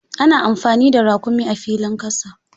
Ana anfani da raƙumi a filin ƙasa.